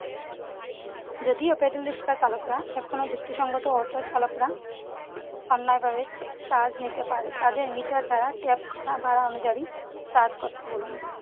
যদিও paddle রিস্কা চালকরা এখন আর যুক্তিসঙ্গত auto চালকরা অন্যায়ভাবে charge নিতে পারে। তাদের মিটার দ্বারা tag করা ভাড়া অনুযায়ী charge করতে বলুন।